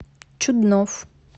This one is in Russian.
чуднов